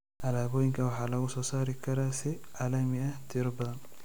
Alaabooyinka waxaa lagu soo rari karaa si caalami ah tiro badan.